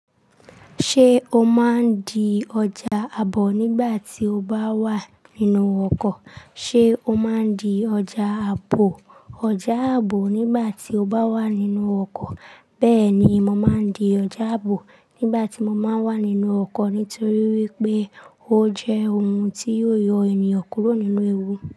Ṣé o máa ń di ọjà àbò nígbà tí o bá wà nínú ọkọ̀? Ṣé o máa ń di ọjà àbò, ọjà àbò nígbà tí o bá wà nínú ọkọ̀? Bẹ́ẹ̀ni mo má ń dé ọjà àbò nígbà tí mo bá wà nínú ọkọ̀ ni torí ojẹ ohun tí ó yọ ẹniyan kúrò nínú ẹ̀wù.